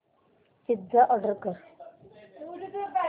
pizza order कर